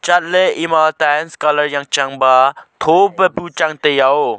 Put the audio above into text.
chatley ema tiles colour jangchang ba tho pa bu changtai ya oh.